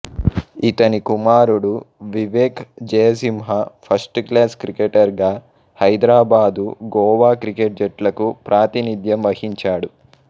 ఇతని కుమారుడు Vivek Jaisimha first class cricketer గా హైదరాబాదు గోవా క్రికెట్ జట్లకు ప్రాతినిధ్యం వహించాడు